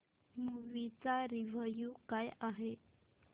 movie चा review काय आहे